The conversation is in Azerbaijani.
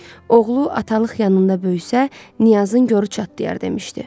Oğlu atalıq yanında böyüsə, Niyazın qoru çatlayar demişdi.